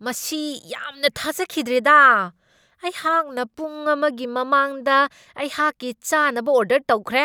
ꯃꯁꯤ ꯌꯥꯝꯅ ꯊꯥꯖꯈꯤꯗ꯭ꯔꯦꯗꯥ! ꯑꯩꯍꯥꯛꯅ ꯄꯨꯡ ꯑꯃꯒꯤ ꯃꯃꯥꯡꯗ ꯑꯩꯍꯥꯛꯀꯤ ꯆꯥꯅꯕ ꯑꯣꯔꯗꯔ ꯇꯧꯈ꯭ꯔꯦ,